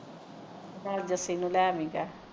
ਭਾਵੇਂ ਜਸੀ ਨੂੰ ਲੈ ਆਵੀਂ ਚਾਹੇ